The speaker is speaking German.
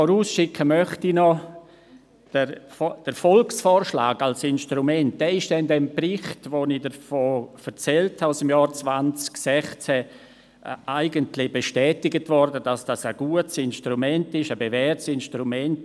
Vorausschicken möchte ich noch, dass der Volksvorschlag als Instrument im Bericht aus dem Jahr 2016, von dem ich erzählt habe, eigentlich bestätigt worden ist, dahingehend, es sei ein gutes, bewährtes Instrument.